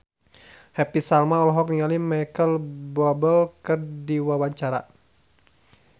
Happy Salma olohok ningali Micheal Bubble keur diwawancara